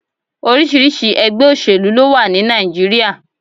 Oríṣiríṣi ẹ̀gbẹ́ òsèlú ló wà ní Nàìjíríà.